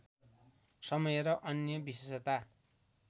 समय र अन्य विशेषता